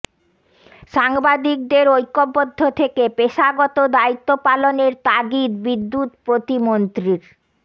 সাংবাদিকদের ঐক্যবদ্ধ থেকে পেশাগত দায়িত্ব পালনের তাগিদ বিদ্যুৎ প্রতিমন্ত্রীর